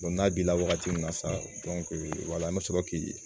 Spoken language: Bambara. n'a b'i la wagati min na sisan an bɛ sɔrɔ k'i